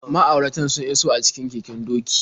Ma'auratan sun iso a cikin keken doki.